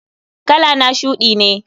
Kalana shudi ne.